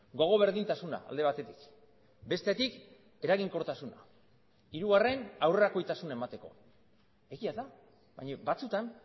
gogo berdintasuna alde batetik bestetik eraginkortasuna hirugarren aurrerakoitasuna emateko egia da baina batzutan